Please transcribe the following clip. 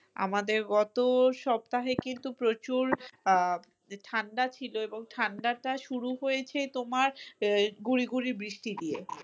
আমাদের গত সপ্তাহে কিন্তু প্রচুর আহ ঠান্ডা ছিল এবং ঠান্ডাটা শুরু হয়েছে তোমার আহ গুড়ি গুড়ি বৃষ্টি দিয়ে।